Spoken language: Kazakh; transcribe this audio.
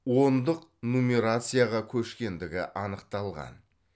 ондық нумерацияға көшкендігі анықталған